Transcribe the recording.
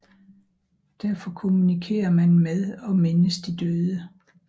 Derfor kommunikerer man med og mindes de døde